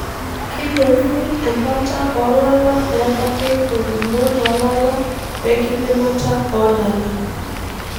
Keyeuni embata olala pebaki ngumot olala wenkiminata olala.